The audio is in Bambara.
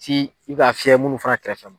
Si i k'a fiyɛ munnu fana kɛrɛfɛ ma.